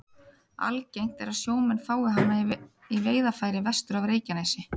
Algengt er að sjómenn fái hana í veiðarfæri vestur af Reykjanesi.